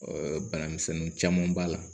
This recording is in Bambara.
bana misɛnnin caman b'a la